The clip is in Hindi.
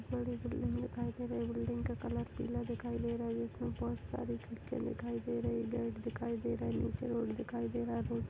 बहुत बड़ी बिल्डिंग दिखाई दे रही है बिल्डिंग का कलर पीला दिखाई दे रहा है जिसमे बहोत सारी खिड़कियां दिखाई दे रही है पेड़ दिखाई दे रही है नीचे रोड दिखाई दे रहा है रोड --